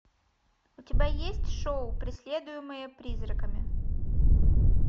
у тебя есть шоу преследуемая призраками